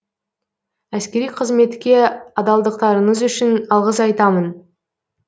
әскери қызметке адалдықтарыңыз үшін алғыс айтамын